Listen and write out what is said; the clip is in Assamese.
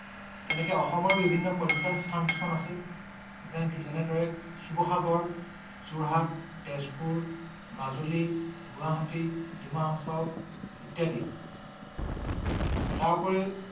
তেনেকে অসমৰ বিভিন্ন পযটন স্থান কিছুমান আছে । যেনেদৰে শিৱসাগৰ, যোৰহাট, তেজপুৰ, মাজুলী, গুৱাহাটী, দিমাহাচাও ইত্যাদি । তাৰোপৰি